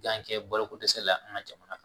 Yan kɛ balo ko dɛsɛ la an ka jamana kan